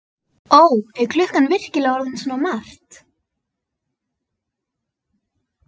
Ó, er klukkan virkilega orðin svona margt?